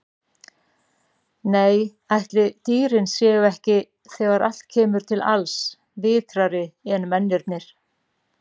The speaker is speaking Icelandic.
Nei, ætli dýrin séu ekki, þegar allt kemur til alls, vitrari en mennirnir.